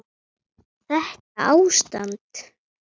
Þetta ástand?